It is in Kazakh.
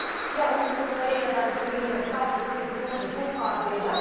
иә оңтүстік кореядан келгендер тап осы соңғы топқа кіреді